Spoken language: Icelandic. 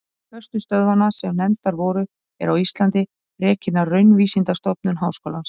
Ein föstu stöðvanna sem nefndar voru, er á Íslandi, rekin af Raunvísindastofnun Háskólans.